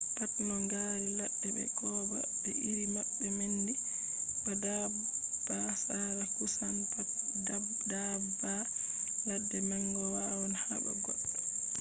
pat no ngaari ladde be kooba be iri maɓɓe nandi ba daabba sare kusan pat daabba ladde manga wawan haɓa goɗɗo